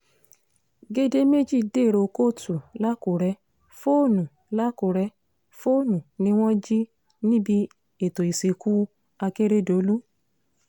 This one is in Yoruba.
gèdè méjì dèrò kóòtù làkúrẹ́ fóònù làkúrẹ́ fóònù ni wọ́n jí níbi ètò ìsìnkú akérèdọ́lù